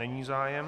Není zájem.